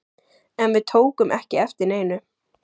En við tókum ekki eftir neinu.